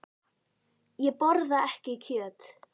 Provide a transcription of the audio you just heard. Ég borða ekki kjöt.